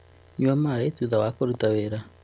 Nyua maaĩ thutha wa kũruta wĩra